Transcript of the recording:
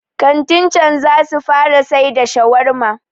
kantin can za su fara sai da shawarma